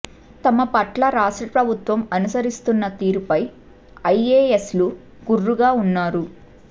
తమ పట్ల రాష్ట్ర ప్రభుత్వం అనుసరిస్తున్న తీరుపై ఐఏఎస్లు గుర్రుగా ఉన్నారు